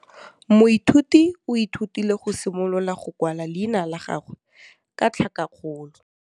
Moithuti o ithutile go simolola go kwala leina la gagwe ka tlhakakgolo.